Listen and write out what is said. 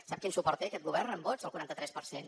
sap quin suport té aquest govern amb vots el quaranta tres per cent